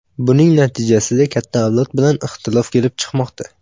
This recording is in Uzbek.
Buning natijasida katta avlod bilan ixtilof kelib chiqmoqda.